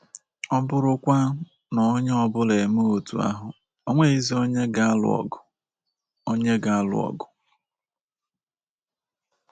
Ọ bụrụkwa na onye ọ bụla emee otú ahụ, o nweghịzi onye ga-alụ ọgụ. onye ga-alụ ọgụ. ”